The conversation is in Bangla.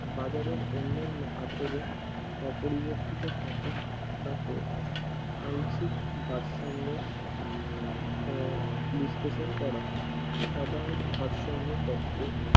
বাজারের অন্যান্য আচরণ অপরিবর্তিত থাকে আংশিক ভারসাম্য ও বিশ্লেষণ করা হয় সাধারণ ভারসাম্য তত্ত্ব